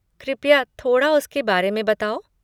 कृपया थोड़ा उसके बारे में बताओ?